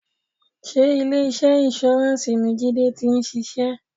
Sé ilé iṣẹ́ insurance ni Jide ti ń ṣiṣẹ́?